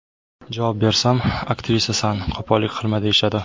Javob bersam, aktrisasan qo‘pollik qilma deyishadi.